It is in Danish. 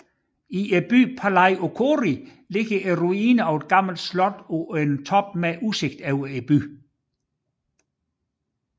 I byen Palaiochori ligger ruinerne af et gammelt slot på en top med udsigt over byen